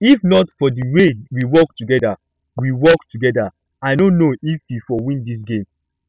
if not for the way we work together we work together i no know if we for win dis game